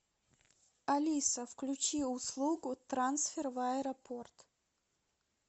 алиса включи услугу трансфер в аэропорт